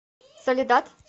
соледад